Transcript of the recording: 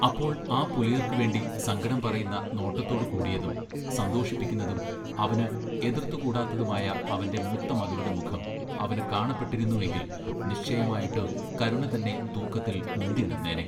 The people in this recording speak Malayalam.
അപ്പോൾ ആ പുലയർക്ക് വേണ്ടി സങ്കടം പറയുന്ന നോട്ടത്തോടു കൂടിയതും സന്തോഷിപ്പിക്കുന്നതും അവന് എതൃത്തു കൂടാത്തതുമായ അവന്റെ മൂത്ത മകളുടെ മുഖം അവന് കാണപ്പെട്ടിരുന്നു എങ്കിൽ നിശ്ചയമായിട്ട് കരുണ തന്നെ തൂക്കത്തിൽ മുന്തി നിന്നേനെ.